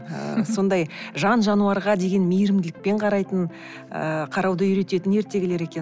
ы сондай жан жануарға деген мейірімділікпен қарайтын ыыы қарауды үйрететін ертегілер екен